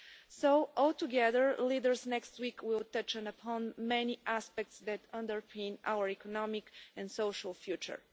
So, altogether, the leaders next week will touch upon many aspects that underpin our economic and social future.